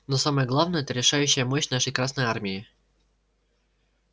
но самое главное это решающая мощь нашей красной армии